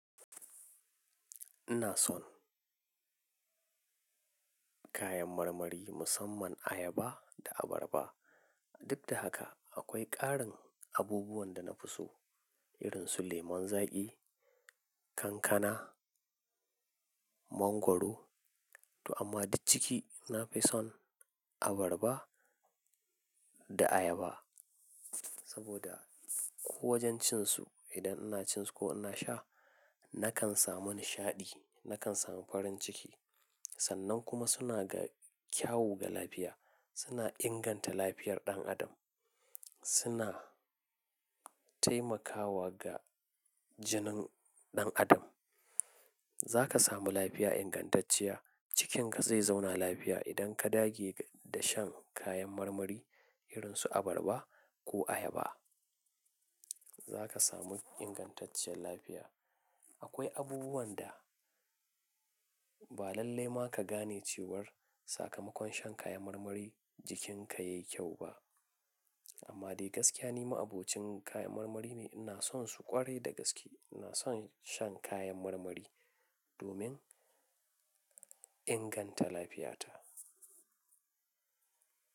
Ina son kayan marmari musamman ayaba da abarba. Duk da haka akwai ƙarin abubuwan da na fi so irin su lemon zaƙi, kankana, mangwaro. To amma duk ciki na fi son abarba da ayaba. Saboda ko wajen cin su idan ina cin su ko ina sha nakan samu nishaɗi, nakan samu farin ciki. Sannan kuma suna da kyau ga lafiya, suna inganta lafiyar ɗan adam, suna taimakawa ga jinin ɗan adam. Za ka samu lafiya ingantacciya, jikinka zai zauna lafiya idan ka dage da shan kayan marmari irin su abarba ko ayaba. Za ka samu ingantaccen lafiya. Akwai abubuwan da ba lalle ma ka gane cewar sakamakon shan kayan marmari jikinka yayi kyau ba. Amma dai gaskiya ni ma abokin kayan marmari ne, ina son su ƙwarai da gaske. Ina son shan kayan marmari domin inganta lafiyata.